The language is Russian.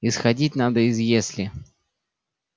исходить надо из если